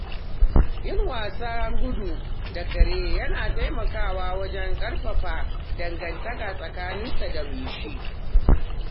Yin wasan gudu da kare yana taimakawa wajen ƙarfafa dangantaka tsakaninsa da mai shi.